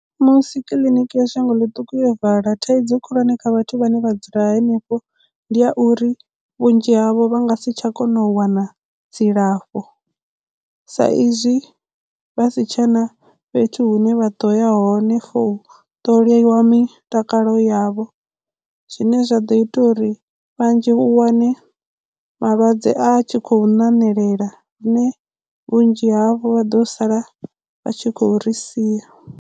Musi kiḽiniki ya shango ḽiṱuku yo vala thaidzo khulwane kha vhathu vhane vha dzula henefho ndi ya uri vhunzhi havho vha nga si tsha kona u wana dzilafho sa izwi vha si tshena fhethu hune vha ḓo yaho hone for u ṱoliwa mitakalo yavho zwine zwa ḓo ita uri vhanzhi u wane malwadze a tshi khou ṋamelela lune vhunzhi havho vha ḓo sala vha tshi khou ri sia.